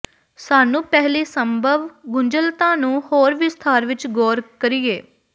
ਸਾਨੂੰ ਪਹਿਲੀ ਸੰਭਵ ਗੁੰਝਲਤਾ ਨੂੰ ਹੋਰ ਵਿਸਥਾਰ ਵਿੱਚ ਗੌਰ ਕਰੀਏ